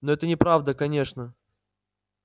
но это неправда конечно